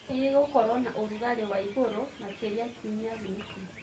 nĩ kĩĩ gĩgũkorwo naũrũgarĩ waĩgũrũ makĩrĩa kĩũmĩa gĩkĩ